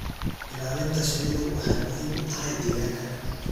Ilaalinta shinnidu waxay muhiim u tahay deegaanka.